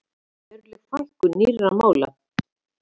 Veruleg fækkun nýrra mála